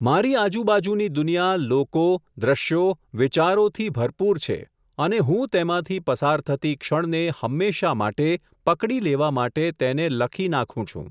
મારી આજુબાજુની દુનિયા લોકો, દ્રશ્યો, વિચારોથી ભરપૂર છે અને હું તેમાંથી પસાર થતી ક્ષણને હંમેશાં માટે, પકડી લેવા માટે તેને લખી નાખું છું.